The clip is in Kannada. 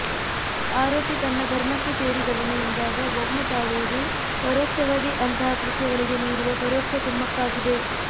ಆರೋಪಿ ತನ್ನ ಧರ್ಮಕ್ಕೇ ಸೇರಿದವನು ಎಂದಾಗ ವೌನ ತಾಳುವುದು ಪರೋಕ್ಷವಾಗಿ ಅಂತಹ ಕೃತ್ಯಗಳಿಗೆ ನೀಡುವ ಪರೋಕ್ಷ ಕುಮ್ಮಕ್ಕಾಗಿದೆ